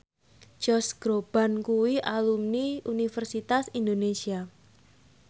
Josh Groban kuwi alumni Universitas Indonesia